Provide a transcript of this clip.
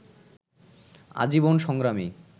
আজীবন সংগ্রামী